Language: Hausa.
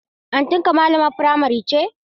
Auntynka malamar firamare ce?